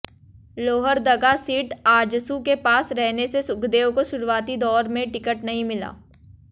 Lohardaga seat AJSU के पास रहने से सुखदेव काे शुरुआती दाैर में टिकट नहीं मिला